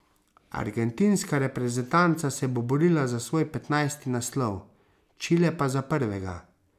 Argentinska reprezentanca se bo borila za svoj petnajsti naslov, Čile pa za prvega.